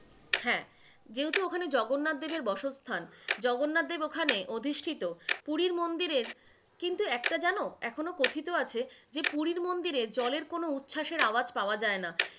হ্যাঁ, যেহেতু ওখানে জগন্নাথদেব এর বসস্থান, জগন্নাথদেব ওখানে অধিষ্ঠিত, পুরীর মন্দিরের কিন্তু একটা যেন এখনো কথিত আছে যে পুরীর মন্দিরে জলের কোন উচ্ছাসের আওয়াজ পাওয়া যায়না,